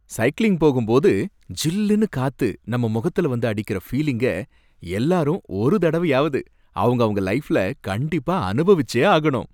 Cycling போகும்போது ஜில்லுன்னு காத்து நம்ம முகத்துல வந்து அடிக்கற பீலிங்க, எல்லாரும் ஒரு தடவையாவது அவங்கவங்க லைஃப்ல கண்டிப்பா அனுபவிச்சே ஆகணும்.